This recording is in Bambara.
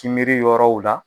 kinbiri yɔrɔw la